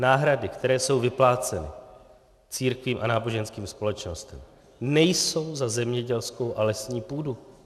Náhrady, které jsou vypláceny církvím a náboženským společnostem, nejsou za zemědělskou a lesní půdu.